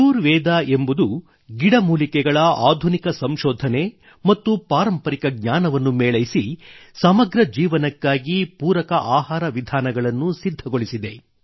cure Veda ಎಂಬುದು ಗಿಡ ಮೂಲಿಕೆಗಳ ಆಧುನಿಕ ಸಂಶೋಧನೆ ಮತ್ತು ಪಾರಂಪರಿಕ ಜ್ಞಾನವನ್ನು ಮೇಳೈಸಿ ಸಮಗ್ರ ಜೀವನಕ್ಕಾಗಿ ಪೂರಕ ಆಹಾರವನ್ನು ಸಿದ್ಧಗೊಳಿಸಿದೆ